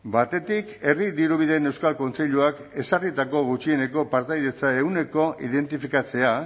batetik herri dirubideen euskal kontseiluak ezarritako gutxieneko partaidetza ehunekoa identifikatzea